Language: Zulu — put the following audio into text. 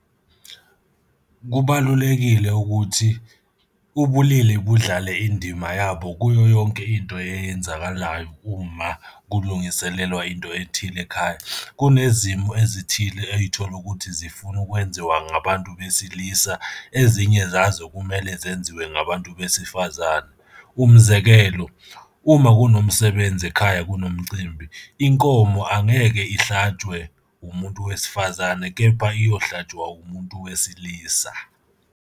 Kubalulekile ukuthi ubulili budlale indima yabo kuyo yonke into eyenzakalayo uma kulungiselelwa into ethile ekhaya. Kunezimo ezithile ey'thola ukuthi zifuna ukwenziwa ngabantu besilisa, ezinye zazo kumele zenziwe ngabantu besifazane. Umzekelo, uma kunomsebenzi ekhaya, kunomcimbi, inkomo angeke ihlatshwe umuntu wesifazane, kepha iyohlatshwa umuntu wesilisa.